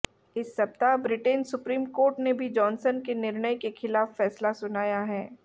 इस सप्ताह Britain supreme court ने भी जॉनसन के निर्णय के खिलाफ फैसला सुनाया है